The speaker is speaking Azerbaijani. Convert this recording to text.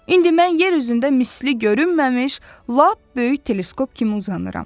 İndi mən yer üzündə misli görünməmiş lap böyük teleskop kimi uzanıram.